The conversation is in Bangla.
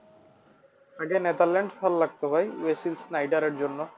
আগে নেদারল্যান্ড ভালো লাগতো ভাই এর জন্য।